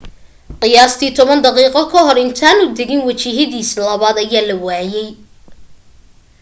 qiyaastii toban daqiiqo kahor intaanu dagin wajihidiisa labaad ayaa la waayay